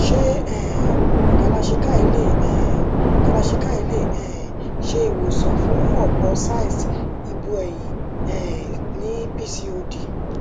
se um kalarchikai le um kalarchikai le um se iwosan fun opo cysts ibu eyin um ni pcod